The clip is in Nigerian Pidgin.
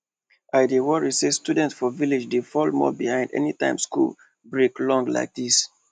i dey worry say students for village dey fall more behind anytime school break long like this